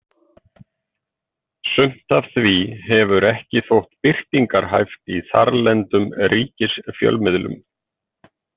Sumt af því hefur ekki þótt birtingarhæft í þarlendum ríkisfjölmiðlum.